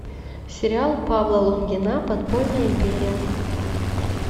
сериал павла лунгина подпольная империя